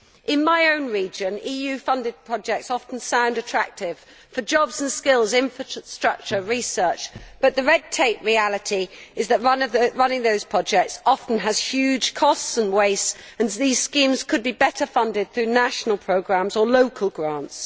In my own region, EU funded projects often sound attractive for jobs and skills, infrastructure and research, but the red tape reality is that running those projects often has huge costs and wastes, and these schemes could be better funded through national programmes or local grants.